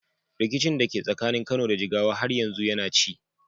Rikicin da ke tsakanin Kano da Jigawa har yanzu yana ci.